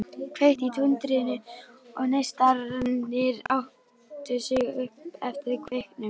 Kveikti í tundrinu og neistarnir átu sig upp eftir kveiknum.